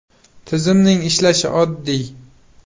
Tizimning ishlashi oddiy.